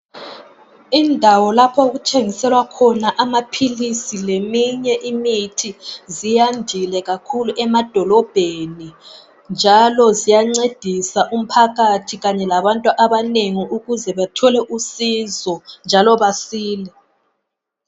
Indawo lapho okuthengiselwa khona amaphilisi leminye imithi, ziyandile kakhulu emadolobheni, njalo ziyancedisa umphakathi kanye labantu abanengi ukuze bathole usizo njalo besile.